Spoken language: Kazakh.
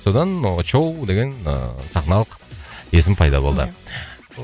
содан очоу деген ыыы сахналық есім пайда болды